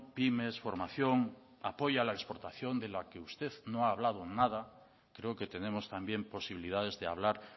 pymes formación apoyo a la exportación de la que usted no ha hablado nada creo que tenemos también posibilidades de hablar